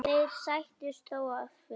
Þeir sættust þó að fullu.